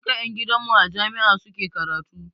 Duka ƴan gidan mu a jami'a suke karatu.